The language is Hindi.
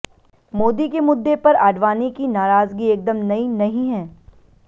मोदी के मुद्दे पर आडवाणी की नाराजगी एकदम नई नहीं है